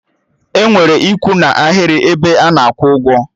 Enwere ikwu n'aghịrị 'ebe ana akwụ ụgwọ